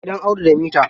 Gidan Audu da mita.